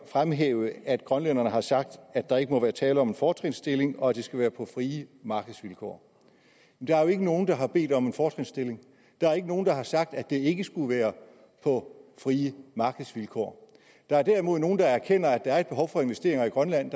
fremhæve at grønlænderne har sagt at der ikke må være tale om en fortrinsstilling og at det skal være på frie markedsvilkår der er jo ikke nogen der har bedt om en fortrinsstilling og der er ikke nogen der har sagt at det ikke skulle være på frie markedsvilkår der er derimod nogle der erkender at der er et behov for investeringer i grønland